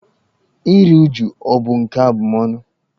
Iri újú ọ̀ bụ nke abụmọnụ?